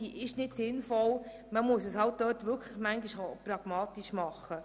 Manchmal muss man eine Sache halt pragmatisch angehen.